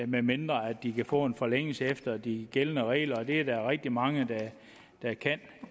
medmindre de kan få en forlængelse efter de gældende regler og det er der rigtig mange der kan